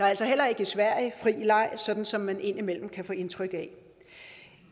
altså heller ikke i sverige fri leg sådan som man indimellem kan få indtryk af